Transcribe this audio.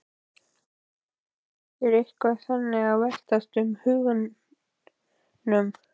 Er eitthvað þannig að veltast um í huganum?